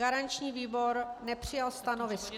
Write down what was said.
Garanční výbor nepřijal stanovisko.